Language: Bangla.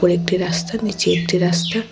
একটি রাস্তার নিচে একটি রাস্তা।